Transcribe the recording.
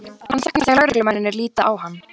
Hann þagnar þegar lögreglumennirnir líta á hann.